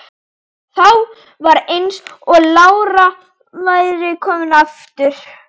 Þá var eins og lára væri komin aftur.